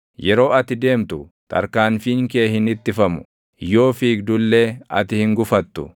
Yeroo ati deemtu, tarkaanfiin kee hin ittifamu; yoo fiigdu illee ati hin gufattu.